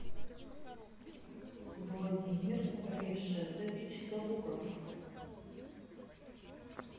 владимир решетович сабуров